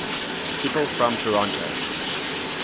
people from toronto